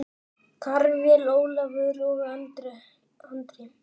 Karvel, Ólafur og Andri.